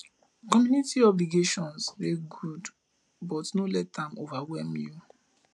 community obligation dey good but no let am overwhelm you